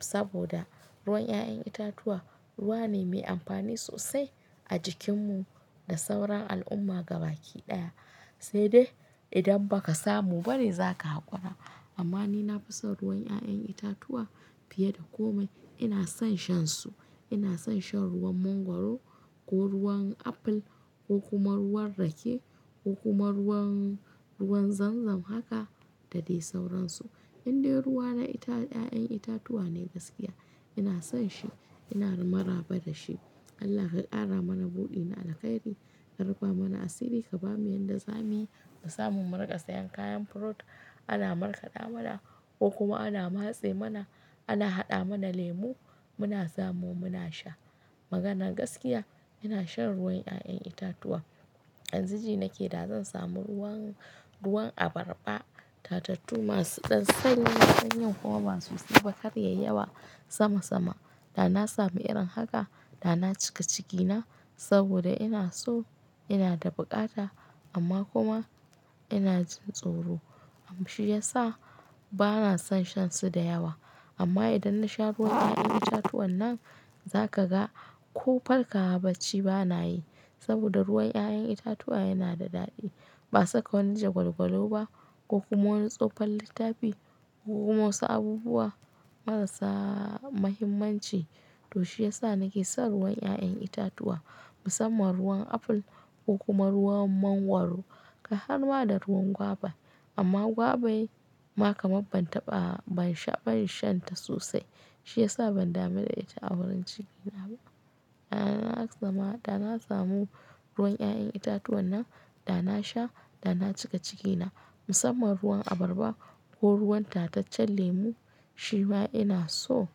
Saboda ruwan 'ya'yan itatuwa ruwa ne mai amfani sosai a jikinmu da sauran al'umma gabaki ɗaya. Sai dai idan ba ka samu bane za ka hakura. Amma ni na fi son ruwan 'ya'yan itatuwa fiye da komai. Ina son shansu, ina son shan ruwan mangwaro ko ruwan aful ko kuma ruwan rake ko kuma ruwan ruwan zanzam haka da dai sauransu. Indai ruwa na 'ya'yan itatuwa ne gaskiya ina son shi ina maraba da shi. Allah ka ƙara mana buɗi na alheri, ka rufa mana asiri ka bamu yadda zamuyi mu samun mu riƙa sayan kayan fruit ana markaɗa mana ko kuma ana matse mana, ana haɗa mana lemu muna samu muna sha. Magana gaskiya ina shan ruwan 'ya'yan itatuwa. Yanzu ji nake da zan samu ruwan abarba, tatattu masu dansa sanyi kuma ba su zuba karyayi yawa sama sama. Da na samu irin haka da na cika cikina saboda ina so ina da buƙata amma kuma ina jin tsoro. Shi ya sa bana son shan su da yawa. Amma idan na sha ruwan 'ya'yan itatuwan nan, za ka ga ko farkawa bacci bana yi. Saboda ruwan 'ya'yan itatuwa yana da daɗi. Ba saka wani jagwalgwalo ba ko kuma wani tsofon littafi ko kuma wasu abubuwa marasa mahimmanci. To shi ya sa nake son ruwan 'ya'yan itatuwa musamman ruwan aful ko kuma ruwan mangwaro kai harma da ruwan gwaba. Amma gwabai ma kamar ban taɓa ban sha ban shan ta sosai. Shi ya sa ban dame da ita a wurin cikina ba. Da na zama da na samu ruwan 'ya'yan itatuwan nan da na sha da na cika cikina musamman ruwan abarba ko ruwan tataccen lemu shi ma ina so.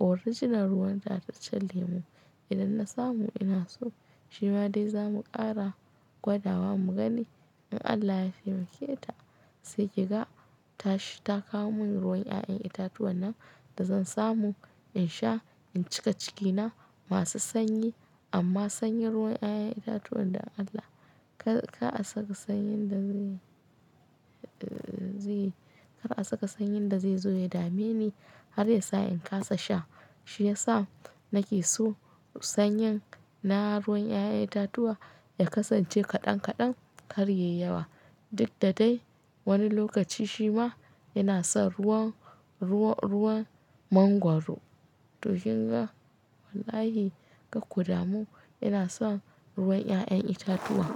Original ruwan tataccen lemu idan na samu ina so. Shi ma dai zamu ƙara gwada wa mu gani in Allah ya taimake ta. Sai ki ga ta kawo mun ruwan 'ya'yan itatuwan nan da zan samu in sha in cika cikina masu sanyi. Amma sanyin ruwan 'ya'yan itatuwan da Allah ka, ka saka sanyin da zai, zai, kar a saka sanyin da zai zo ya dame ni har ya sa in kasa sha. Shi ya sa nake so sanyin na ruwan 'ya'yan itatuwa ya kasance kaɗan kaɗan karyayi yawa. Duk da dai wani lokaci shi ma ina son ruwan, ruwan mangwaro. To kinga wallahi kar kuda mu ina son ruwan 'ya'yan itatuwa.